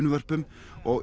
og